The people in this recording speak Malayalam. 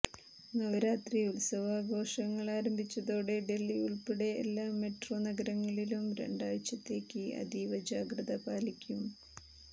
നവരാത്രി ഉത്സവാഘോഷങ്ങൾ ആരംഭിച്ചതോടെ ഡൽഹി ഉൾപ്പെടെ എല്ലാ മെട്രോനഗരങ്ങളിലും രണ്ടാഴ്ചത്തേക്ക് അതീവജാഗ്രത പാലിക്കും